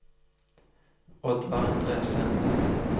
Oddvar Endresen